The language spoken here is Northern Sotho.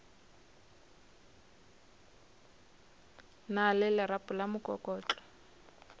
na le lerapo la mokokotlo